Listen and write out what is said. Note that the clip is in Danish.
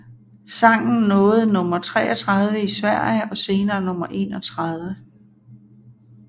Sangen nåede nummer 33 i Sverige og senere nummer 31